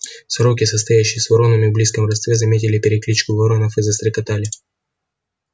сороки состоящие с воронами в близком родстве заметили перекличку воронов и застрекотали